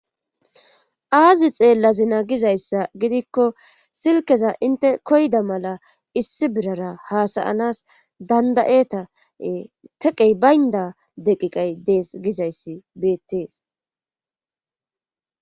aazi xeellazina gizayssa gidikko silkeza inte koyda mala issi birara haasayanas dandayeta teqey baynda deqiqay dees gizayssi beettees